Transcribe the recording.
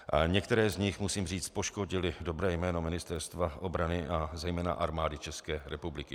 Některé z nich, musím říct, poškodily dobré jméno Ministerstva obrany a zejména Armády České republiky.